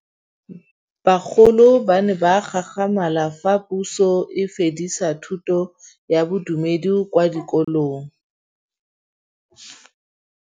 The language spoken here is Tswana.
Bagolo ba ne ba gakgamala fa Pusô e fedisa thutô ya Bodumedi kwa dikolong.